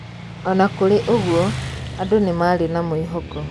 Ona kũrĩ ũguo, andũ nĩmarĩ na mwĩhoko